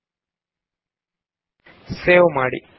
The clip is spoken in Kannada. ಫೈಲ್ ಗೆ ಹೋಗಿ ಸೇವ್ ಮಾಡಿ